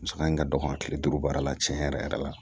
Musaka in ka dɔgɔ kile duuru baara la tiɲɛ yɛrɛ yɛrɛ la